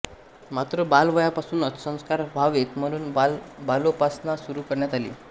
मात्र बालवयापासूनच संस्कार व्हावेत म्हणून बालोपासना सुरू करण्यात आली